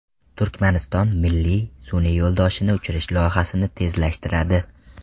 Turkmaniston milliy sun’iy yo‘ldoshini uchirish loyihasini tezlashtiradi.